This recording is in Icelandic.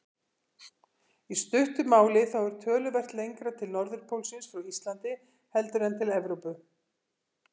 Í stuttu máli þá er töluvert lengra til norðurpólsins frá Íslandi heldur en til Evrópu.